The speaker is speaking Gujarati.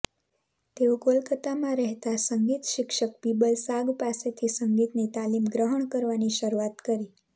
તેઓ કોલકતામાં રહેતા સંગીત શિક્ષક બીબલ સાગ પાસેથી સંગીતની તાલીમ ગ્રહણ કરવાની શરૂઆત કરી